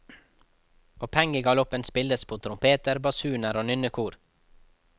Og pengegaloppen spilles med trompeter, basuner og nynnekor.